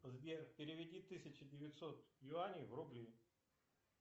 сбер переведи тысяча девятьсот юаней в рубли